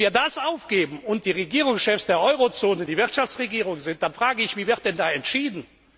Wenn wir das aufgeben und die Regierungschefs der Eurozone die Wirtschaftsregierung sind, dann frage ich mich Wie wird dann da entschieden?